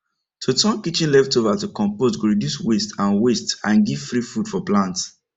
to turn kitchen leftover to compost go reduce waste and waste and give free food for plant